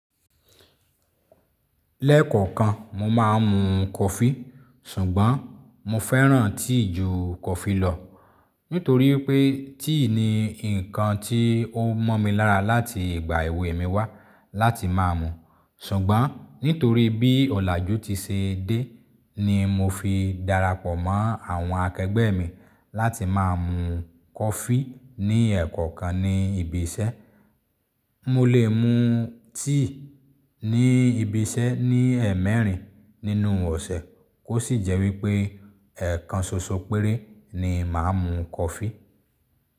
Lẹ́ẹ̀kọ̀kan, mo máa ń mu coffee, ṣùgbọ́n mo fẹ́ràn tea ju coffee lọ. Nítorí pé tea ni nǹkan tí ó mọ́ mi lára láti ìgbà èwe mi wá láti máa mú. Ṣùgbọ́n nítorí bí ọ̀làjú ti ṣe dé, ni mo fi darapọ̀ mọ́ àwọn akẹgbẹ́ mi láti máa mú coffee ní ẹ̀ẹ̀kọ̀kan ní ibi iṣẹ́. Mo lè mu tea ní ibi iṣẹ́ ní ẹmẹrin nínú ọ̀sẹ̀ kó sì jẹ́ wípé ẹ̀ẹ̀kan ṣoṣo péré ni màá mú coffee.